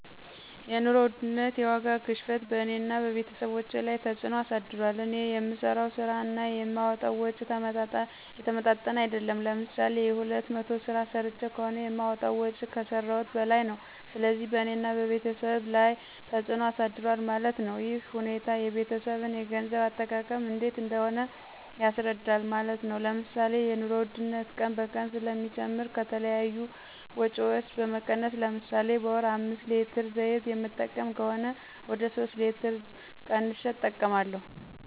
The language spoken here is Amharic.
የኑሮ ውድነት (የዋጋ ግሽበትን በእኔና በቤተሰቦቸ ላይ ተፅዕኖ አሳድሯል። እኔ የምሠራው ስራ እና የማወጣዉ ወጭ የተመጣጠነ አይደለም። ለምሳሌ የሁለት መቶ ስራ ሰርቸ ከሆነ የማወጣው ወጭ ከሰረውት በላይ ነው። ስለዚህ በእኔና በቤተሰብ ላይ ተፅዕኖ አሳድሯል ማለት ነው። ይህ ሁኔታ የቤተሰብን የገንዘብ አጠቃቀም እንዴት እንደሆነ ያስረዳል ማለት ነው። ለምሳሌ የኑሮ ውድነት ቀን በቀን ስለሚጨምር ከተለያዩ ወጭዎች በመቀነስ ለምሳሌ በወር አምስት ሌትር ዘይት የምጠቀም ከሆነ ወደ ሶስት ሌትር ቀንሸ እጠቀማለሁ።